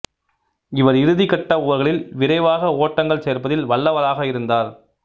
இவர் இறுதிக்கட்ட ஓவர்களில் விரைவாக ஓட்டங்கள் சேர்ப்பதில் வல்லவராக இருந்தார்